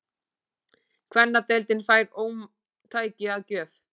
Kvennadeildin fær ómtæki að gjöf